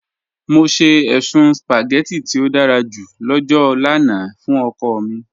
Mọ sẹ èṣùn spaghetti tí ó dàrá jù lọ́jọ́ lána fún ọ̀kọ̀ mi